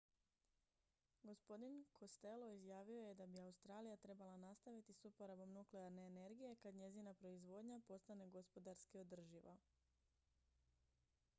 gospodin costello izjavio je da bi australija trebala nastaviti s uporabom nuklearne energije kad njezina proizvodnja postane gospodarski održiva